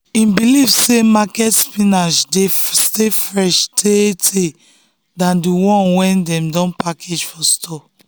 him believe say market spinach dey stay fresh tay tay than the the one dem don package for store.